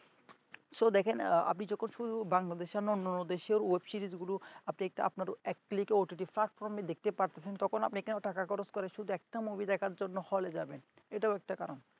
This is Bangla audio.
সো দেখেন আপনি যখন শুধু বাংলাদেশের না অন্যান্য দেশের web series গুলো এক plate OTT platform দেখতে পাচ্ছেন তখন কেন আপনি টাকা খরচ করে শুধু একটা movie দেখার জন্য হলে যাবেন এটাও একটা কারণ